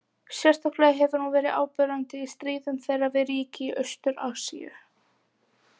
Sérstaklega hefur hún verið áberandi í stríðum þeirra við ríki í Austur- Asíu.